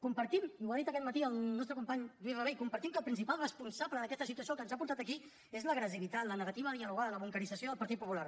compartim i ho ha dit aquest matí el nostre company lluís rabell que el principal responsable d’aquesta situació el que ens ha portat aquí és l’agressivitat la negativa a dialogar la bunquerització del partit popular